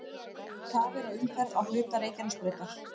Tafir á umferð á hluta Reykjanesbrautar